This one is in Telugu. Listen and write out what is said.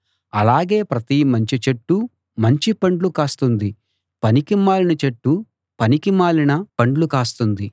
అలాగే ప్రతి మంచి చెట్టు మంచి పండ్లు కాస్తుంది పనికిమాలిన చెట్టు పనికిమాలిన పండ్లు కాస్తుంది